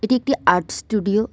এটি একটি art studio.